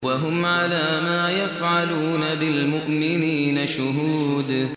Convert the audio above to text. وَهُمْ عَلَىٰ مَا يَفْعَلُونَ بِالْمُؤْمِنِينَ شُهُودٌ